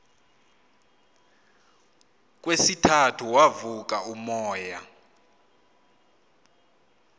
kwesithathu wavuka umoya